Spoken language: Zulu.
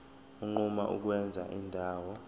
unquma ukwenza indawo